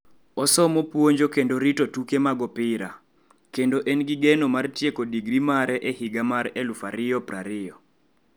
Osomo puonjo kendo rito tuke mag opira, kendo en gi geno mar tieko digri mare e higa mar 2020.